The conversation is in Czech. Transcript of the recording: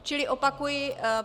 Čili opakuji.